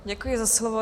Děkuji za slovo.